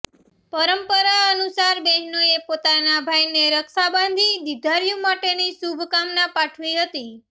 પરંપરા અનુસાર બહેનોએ પોતાના ભાઇને રક્ષા બાંધી દીર્ધાયુ માટેની શુભકામના પાઠવી હતી